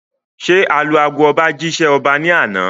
Ṣé alu ago ọba jí ṣẹ́ ọba ní àná?